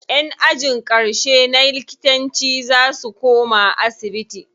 Ƴan ajin ƙarshe na likitanci za su koma asibiti.